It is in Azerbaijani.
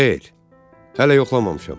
Xeyr, hələ yoxlamamışam.